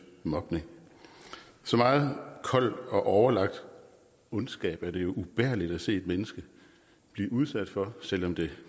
mobning så meget kold og overlagt ondskab er det ubærligt at se et menneske blive udsat for selv om det